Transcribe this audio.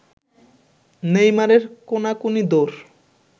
নেইমারের কোনাকুনি দৌড়